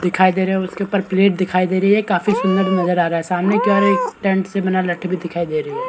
दिखाई दे रहा है उसके ऊपर प्लेट दिखाई दे रही है काफी सुन्दर नजर आ रहा है सामने की और एक टैंट से बना भी नजर आ रहा है।